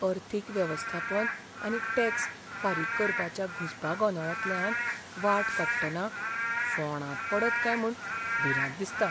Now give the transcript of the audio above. अर्थीक वेवस्थापन आनी टॅक्स फारीक करपाच्या घुसपा गोंदळांतल्यान वाट काडटना फोंणात पडत कांय म्हूण भिरांत दिसता.